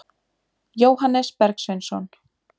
Jóhannes Bergsveinsson.